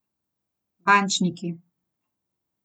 Bančniki.